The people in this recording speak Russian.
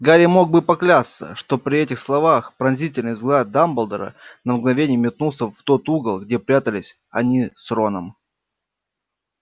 гарри мог бы поклясться что при этих словах пронзительный взгляд дамблдора на мгновение метнулся в тот угол где прятались они с роном